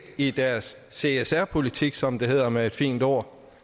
i deres csr politik som det hedder med et fint ord